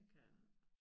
Det kan jeg kke